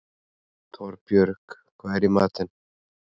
Torbjörg, hvað er í matinn?